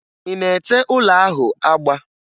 Ị na-ete ụlọ ahụ agba?